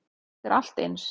Þetta er allt eins.